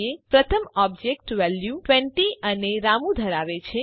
પ્રથમ object value ૨૦ અને રામુ ધરાવે છે